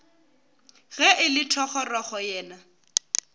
ge e le thogorogo yena